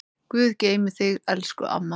Guð geymi þig elsku amma.